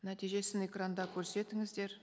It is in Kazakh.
нәтижесін экранда көрсетіңіздер